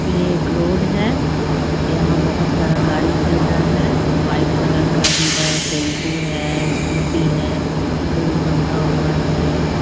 ये एक रोड है यहाँ बहोत सारा गाड़ी चल रहा है वाइट कलर का भी है टेम्पू है स्कूटी है पुल बंधा हुआ है।